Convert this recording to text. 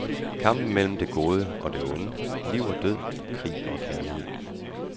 Kampen mellem det gode og det onde, liv og død, krig og kærlighed.